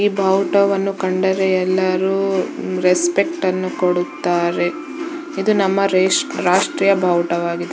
ಈ ಬಾವುಟವನ್ನು ಕಂಡರೆ ಎಲ್ಲರೂ ರೆಸ್ಪೆಕ್ಟ ನ್ನು ಕೊಡುತ್ತಾರೆ ಇದು ನಮ್ಮ ರೆಷ್ಟ್ರೀ ರಾಷ್ಟ್ರೀಯ ಬಾವುಟವಾಗಿದೆ .